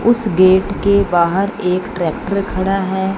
उस गेट के बाहर एक ट्रैक्टर खड़ा है।